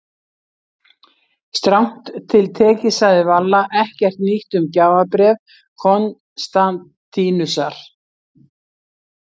Strangt til tekið sagði Valla ekkert nýtt um gjafabréf Konstantínusar.